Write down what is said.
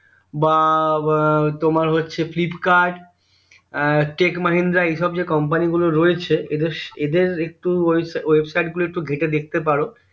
বা তোমার হচ্ছে ফ্লিপকার্ট এর টেক মাহেন্দ্রা এইসব যে company গুলো রয়েছে এদের এদের একটু website গুলো ঘেটে দেখতে পার